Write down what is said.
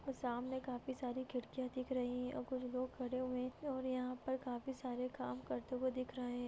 सामने काफी सारी खिड़कियाँ दिख रही हैऔर कुछ लोग खड़े हुए हैं और यहाँ पे काफी सारे काम करते हुए दिख रहे हैं।